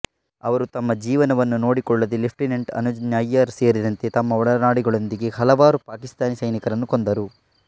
ಅವರು ತಮ್ಮ ಜೀವನವನ್ನು ನೋಡಿಕೊಳ್ಳದೆ ಲೆಫ್ಟಿನೆಂಟ್ ಅನುಜ್ ನಯ್ಯರ್ ಸೇರಿದಂತೆ ತಮ್ಮ ಒಡನಾಡಿಗಳೊಂದಿಗೆ ಹಲವಾರು ಪಾಕಿಸ್ತಾನಿ ಸೈನಿಕರನ್ನು ಕೊಂದರು